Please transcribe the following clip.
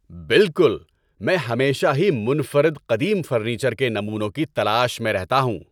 بالکل! میں ہمیشہ ہی منفرد قدیم فرنیچر کے نمونوں کی تلاش میں رہتا ہوں۔